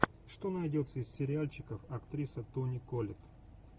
что найдется из сериальчиков актриса тони коллетт